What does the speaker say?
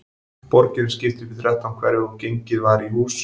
Borginni var skipt í þrettán hverfi og gengið var í hús.